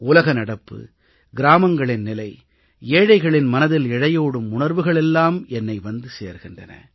உலகநடப்பு கிராமங்களின் நிலை ஏழைகளின் மனதில் இழையோடும் உணர்வுகள் எல்லாம் என்னை வந்து சேர்கின்றன